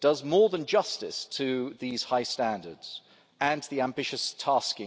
more than does justice to these high standards and to its ambitious task.